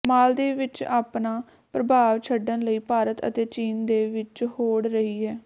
ਮਾਲਦੀਵ ਵਿੱਚ ਆਪਣਾ ਪ੍ਰਭਾਵ ਛੱਡਣ ਲਈ ਭਾਰਤ ਅਤੇ ਚੀਨ ਦੇ ਵਿੱਚ ਹੋੜ ਰਹੀ ਹੈ